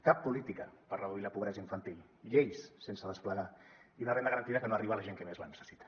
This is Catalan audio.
cap política per reduir la pobresa infantil lleis sense desplegar i una renda garantida que no arriba a la gent que més la necessita